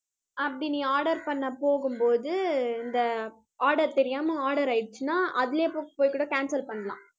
அப்படி நீ order பண்ண போகும்போது, இந்த order தெரியாமல் order ஆயிடுச்சுன்னா அதிலயே போய் கூட cancel பண்ணலாம்